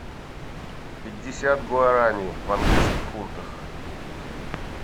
пятьдесят гуарани в английских фунтах